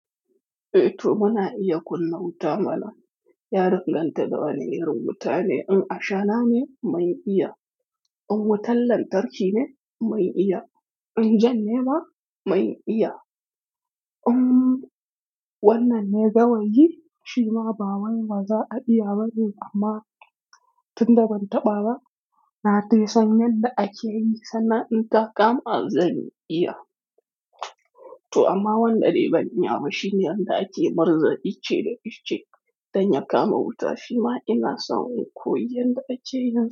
Eh to muna iya kunna wuta mana. Ya danganta da wane irin wuta ne. In ashana ne, mun iya. In wutan lantarki ne, mun iya. In jan ne ma, mai iya. In wannan ne gawayi, shima ba wanda za a iya ba ne amma tunda ban taɓa ba, na dai san yadda ake yi sannan in ta kama zan iya. To amma wanda dai ban iya ba shine yadda ake murza ice da ice don ya kama wuta shima ina so in koyi yadda ake yin.